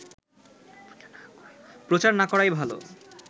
প্রচার না করাই ভাল